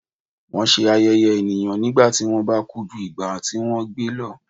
wọn ṣe ayẹyẹ eniyan nígbà tí wọn ba ku ju igba ti wọn gbe lọ